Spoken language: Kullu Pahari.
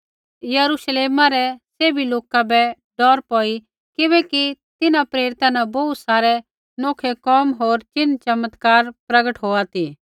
यरूश्लेमा रै सैभी लोका बै डौर पौई किबैकि तिन्हां प्रेरिता न बोहू सारै नौखै कोम होर चिन्ह चमत्कार प्रगट होआ ती